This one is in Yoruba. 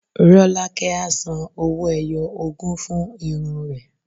Rọ́lákẹ́ á san owó-ẹyọ ogún fún irun rẹ̀.